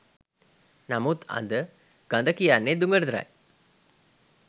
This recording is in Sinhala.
නමුත් අද ගඳ කියන්නේ දුගඳටයි!